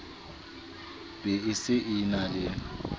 be a se a le